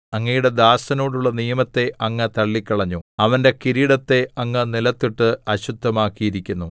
അങ്ങയുടെ ദാസനോടുള്ള നിയമത്തെ അങ്ങ് തള്ളിക്കളഞ്ഞു അവന്റെ കിരീടത്തെ അങ്ങ് നിലത്തിട്ട് അശുദ്ധമാക്കിയിരിക്കുന്നു